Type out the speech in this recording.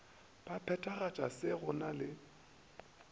ba phethagatšago se go na